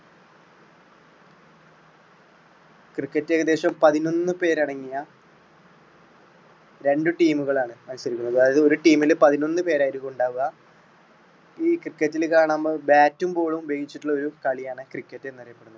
cricket ഏകദേശം പതിനൊന്നു പേരടങ്ങിയ രണ്ടു team മുകളാണ് മത്സരിക്കുന്നത്. അതായത് ഒരു team മില് പതിനൊന്നു പേരായിരിക്കുമുണ്ടാവുക. ഈ cricket റ്റിൽ bat റ്റും ball ളും ഉപയോഗിച്ചിട്ടുള്ള ഒരു കളിയാണ് cricket എന്ന് അറിയപ്പെടുന്നത്.